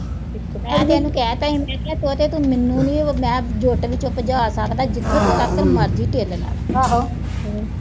ਫਿਰ ਮੈਂ ਉਹਨੂੰ ਕਹਿ ਤਾ, ਮੈਂ ਕਿਆ ਤੋਤੇ ਤੂੰ ਮੈਨੂੰ ਨੀਂ ਉਹ, ਮੈਂ ਜੋ ਤੇਰੇ ਚਿੱਤ ਚ ਆ ਸਕਦਾ, ਜਿੱਥੋਂ ਤੱਕ ਮਰਜ਼ੀ ਢਿੱਲ ਲਾ ਲੈ